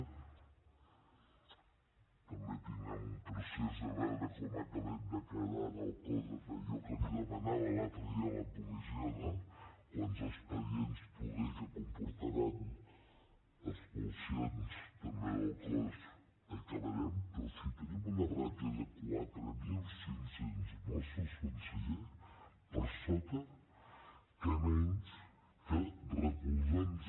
també tindrem un procés de veure com acabem de quedar en el cos en allò que li demanava l’altre dia a la comissió no quants expedients poder que comportaran expulsions també del cos acabarem però si tenim una ràtio de quatre mil cinc cents mossos conseller per sota què menys que recolzar nos